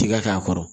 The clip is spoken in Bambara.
Tiga k'a kɔrɔ